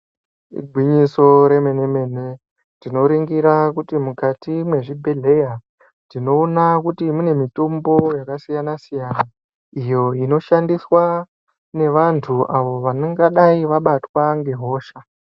Igwinyiso remen-mene, tinoringira kuti mukati mwezvibhedhleya, tinoona kuti mune mitombo yakasiyana-siyana, iyo inoshandiswa nevantu avo ,vanengadai vabatwa nehosha.